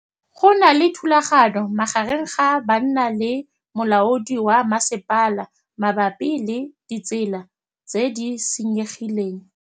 Go na le thulanô magareng ga banna le molaodi wa masepala mabapi le ditsela tse di senyegileng.